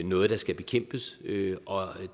noget der skal bekæmpes og